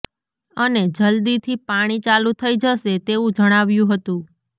અને જલ્દી થી પાણી ચાલુ થઈ જસે તેવું જણાવ્યું હતું